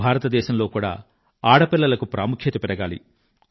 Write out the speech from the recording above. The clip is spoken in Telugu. భారతదేశంలో కూడా ఆడపిల్లలకు ప్రాముఖ్యత పెరగాలి